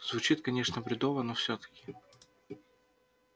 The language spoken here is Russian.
звучит конечно бредово но всё-таки